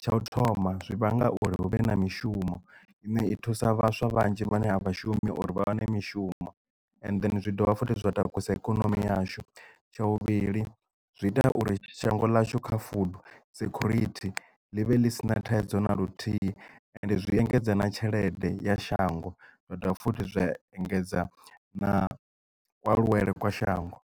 tsha u thoma zwi vhanga uri hu vhe na mishumo ine i thusa vhaswa vhanzhi vhane a vha shumi uri vha wane mishumo and zwi dovha futhi zwa takusa ikonomi yashu tsha vhuvhili zwi ita uri shango ḽashu kha food security ḽi vhe ḽi si na thaidzo na luthihi and zwi engedza na tshelede ya shango nda dovha futhi zwa engedza na kualuwele kwa shango.